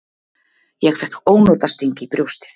Ég fékk ónotasting í brjóstið.